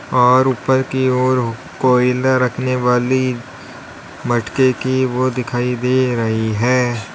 और ऊपर की ओर कोयला रखने वाली मटके की वो दिखाई दे रही है।